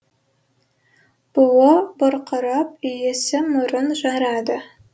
буы бұрқырап иісі мұрын жарады